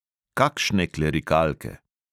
Kakšne klerikalke!